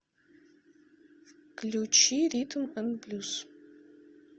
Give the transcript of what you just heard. включи ритм н блюз